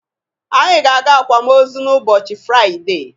Anyị ga-aga akwamozu n'ụbọchị Firaide.